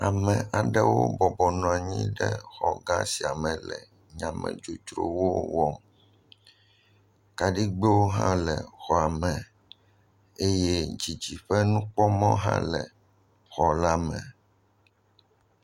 Ame aɖewobɔbɔ nɔ anyi ɖe xɔ gã sia me le nyamedzodzrowo wɔm. Kaɖigbɛwo hã le xɔa me eye dzidziƒenukpɔmɔ hã le xɔ la me.